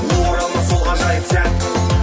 оралмас сол ғажайып сәт